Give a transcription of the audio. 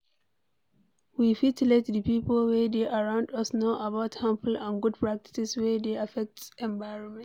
We fit let di pipo wey dey around us know about harmful and good practices wey dey affect environment